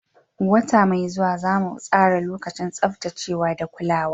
Wata mai zuwa, za mu tsara lokacin tsaftacewa da kulawa.